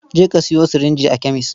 Je ka sayo sirinji a kemes.